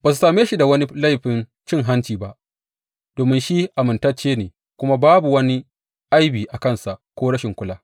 Ba su same shi da wani laifin cin hanci ba, domin shi amintacce ne kuma babu wani aibi a kansa ko rashin kula.